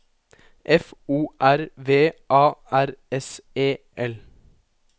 F O R V A R S E L